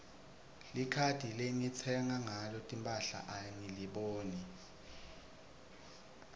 likhadi lengitsenga ngalo timphahla angiliboni